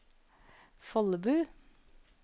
Follebu